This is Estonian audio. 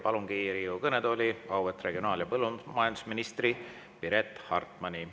Palungi Riigikogu kõnetooli auväärt regionaal‑ ja põllumajandusministri Piret Hartmani.